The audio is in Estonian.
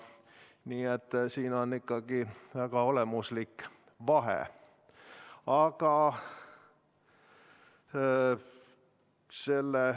Nii et siin on ikkagi väga olemuslik vahe.